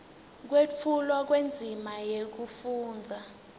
kwetfulwa kwendzima yekufundza